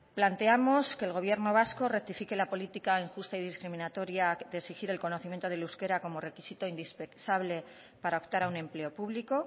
planteamos que el gobierno vasco rectifique la política injusta y discriminatoria de exigir el conocimiento del euskera como requisito indispensable para optar a un empleo público